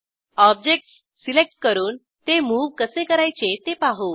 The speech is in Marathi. ऑब्जेक्टस सिलेक्ट करून ते मूव कसे करायचे ते पाहू